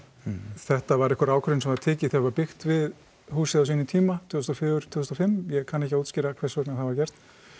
þetta var einhver ákveðin sem var tekin þegar var byggt við húsið á sínum tíma tvö þúsund og fjögur til tvö þúsund og fimm ég kann ekki að útskýra hvers vegna það var gert